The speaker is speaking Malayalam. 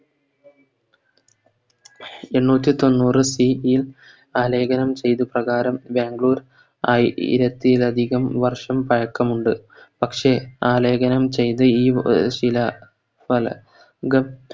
എണ്ണുറ്റിതൊണ്ണൂറ്‍ ൽ ആലേഖനം ചെയ്തത് പ്രകാരം ബാംഗ്ലൂർ ആയി രത്തിലധികം വർഷം പയക്കമുണ്ട് പക്ഷെ ആലേഖനം ചെയ്ത ഈ വ ശില ഫല ഗ